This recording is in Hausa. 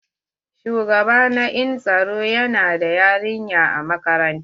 Shugaba na en tsaro yana da yarinya a makarantar.